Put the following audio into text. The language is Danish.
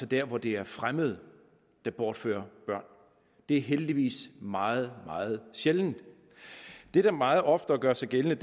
der hvor det er fremmede der bortfører børn det er heldigvis meget meget sjældent det der meget oftere gør sig gældende